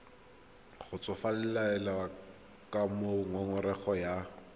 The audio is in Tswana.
kgotsofalele ka moo ngongorego ya